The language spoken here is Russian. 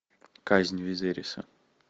казнь визериса